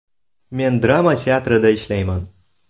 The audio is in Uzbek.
Men drama teatrida ishlayman.